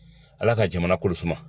Ala ka jamana kolo suma